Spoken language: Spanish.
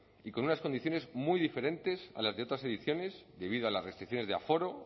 y con unas condiciones muy diferentes a las de otras ediciones debido a las restricciones de aforo